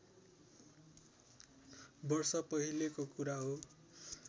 वर्ष पहिलेको कुरा हो